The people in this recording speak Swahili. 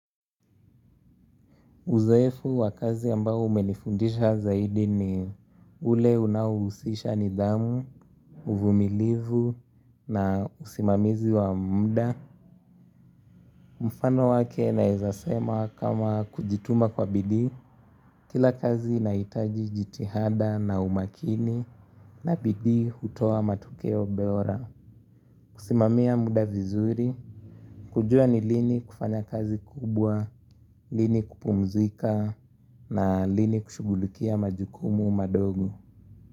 Uzoefu wa kazi ambao umenifundisha zaidi ni ule unaohusisha nidhamu, uvumilivu na usimamizi wa mda. Mfano wake naeza sema kama kujituma kwa bidii, kila kazi inahitaji jitihada na umakini na bidii hutoa matokeo bora. Kusimamia muda vizuri, kujua ni lini kufanya kazi kubwa, lini kupumzika na lini kushughulukia majukumu madogo.